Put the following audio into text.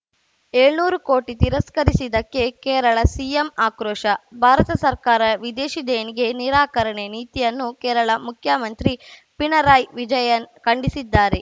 ಏಳ್ನೂರು ಕೋಟಿ ತಿರಸ್ಕರಿಸಿದ್ದಕ್ಕೆ ಕೇರಳ ಸಿಎಂ ಆಕ್ರೋಶ ಭಾರತ ಸರ್ಕಾರ ವಿದೇಶಿ ದೇಣಿಗೆ ನಿರಾಕರಣೆ ನೀತಿಯನ್ನು ಕೇರಳ ಮುಖ್ಯಮಂತ್ರಿ ಪಿಣರಾಯಿ ವಿಜಯನ್‌ ಖಂಡಿಸಿದ್ದಾರೆ